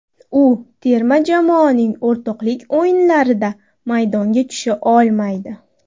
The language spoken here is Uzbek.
U terma jamoaning o‘rtoqlik o‘yinlarida maydonga tusha olmaydi.